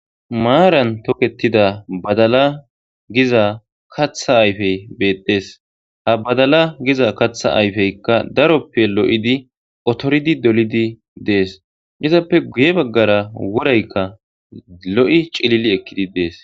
Maaran toketida badala giza katha ayfey beettes ha badala giza katha ayfeykka daroppe lo'idi otoridi dolidi dees izappe guye baggara woraykka lo'i cilili ekkidi dees.